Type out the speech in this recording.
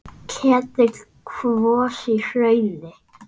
Ketill kvos í hrauni.